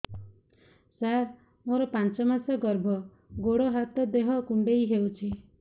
ସାର ମୋର ପାଞ୍ଚ ମାସ ଗର୍ଭ ଗୋଡ ହାତ ଦେହ କୁଣ୍ଡେଇ ହେଉଛି